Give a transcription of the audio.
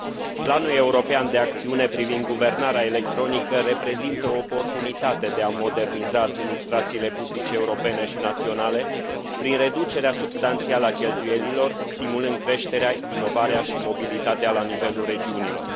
Planul european de acțiune privind guvernarea electronică reprezintă o oportunitate de a moderniza administrațiile publice europene și naționale, prin reducerea substanțială a cheltuielilor, stimulând creșterea, inovarea și mobilitatea la nivelul regiunilor.